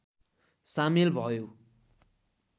सामेल भयो